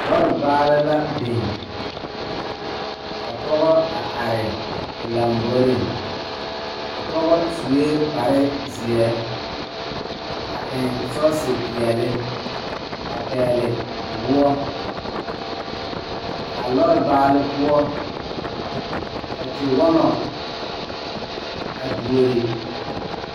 Dɔɔ kaŋa are la pegle bɔtuloŋ kaa pɔge are kaa zu waa pelaa su kpare ziɛ kaa bamine meŋ teɛ ba nuure kyɛ ba a wire ba nyɛmɛ.